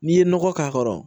N'i ye nɔgɔ k'a kɔrɔ